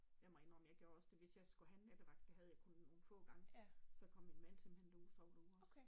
Jeg må indrømme jeg gjorde også det at hvis jeg skulle have en nattevagt det havde jeg kun nogle få gange så kom min mand simpelthen derud og sov ude også